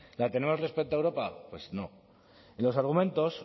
la tenemos respecto a europa pues no y los argumentos